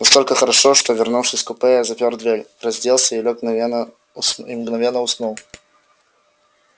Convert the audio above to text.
настолько хорошо что вернувшись в купе я запер дверь разделся лёг и мгновенно уснул